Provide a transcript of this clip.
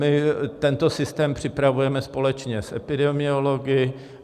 My tento systém připravujeme společně s epidemiology.